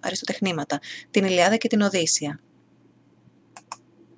αριστοτεχνήματα την ιλιάδα και τη οδύσσεια